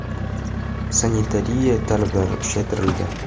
Sanitariya talablari kuchaytirildi.